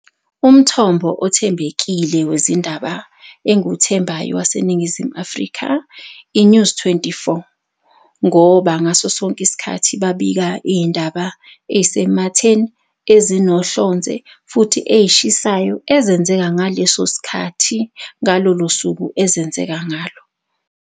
Umthombo othembekile wezindaba engiwuthembayo waseNingizimu Afrika i-News twenty-four. Ngoba ngaso sonke isikhathi babika iy'ndaba ey'sematheni ezinohlonze futhi ey'shisayo ezenzeka ngaleso sikhathi ngalolo suku ezenzeka ngalo.